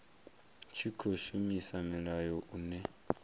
tshi khou shumisa mulayo une